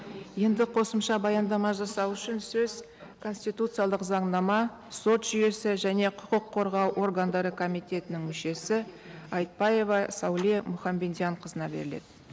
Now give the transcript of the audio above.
енді қосымша баяндама жасау үшін сөз конституциялық заңнама сот жүйесі және құқық қорғау органдары комитетінің мүшесі айтбаева сәуле мұхамбендианқызына беріледі